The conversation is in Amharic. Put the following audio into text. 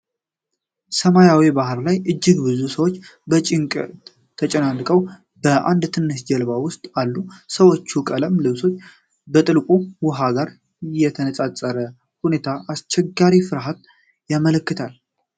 ሰማያዊ ባህር ላይ፣ እጅግ በጣም ብዙ ሰዎች በጭንቀት ተጨናንቀው በአንድ ትንሽ ጀልባ ውስጥ አሉ። የሰዎቹ ቀለም ልብሶች ከጥልቁ ውሃ ጋር ተነጻጽረው የሁኔታውን አስቸጋሪነት በፍርሃት ያመለክታሉ።